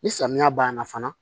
Ni samiya banna fana